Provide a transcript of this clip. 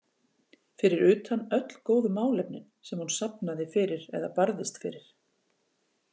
Fyrir utan öll góðu málefnin sem hún safnaði fyrir eða barðist fyrir.